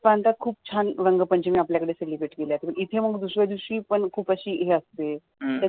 प्रांतात पण खूप छान रंग पंचमी आपल्या कडे celebrate केल्या जाते इथे पण दुस-या दिवशी खूप अशी हे असते.